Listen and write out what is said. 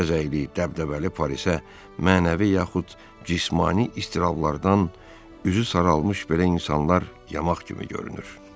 Bəzəkli, dəbdəbəli Parisə mənəvi yaxud cismani istirablardan üzü saralmış belə insanlar yamaq kimi görünür.